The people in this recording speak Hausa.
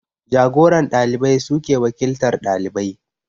Jagoran ɗalibai suke wakiltar ɗalibai